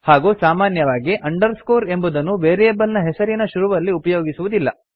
ಹಾಗೂ ಸಾಮಾನ್ಯವಾಗಿ ಅಂಡರ್ಸ್ಕೋರ್ ಎಂಬುದನ್ನು ವೇರಿಯೇಬಲ್ ನ ಹೆಸರಿನ ಶುರುವಿನಲ್ಲಿ ಉಪಯೋಗಿಸುವುದಿಲ್ಲ